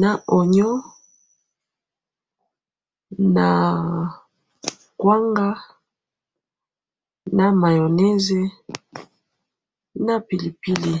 na onyo naa kwanga na mayoneze na pili pili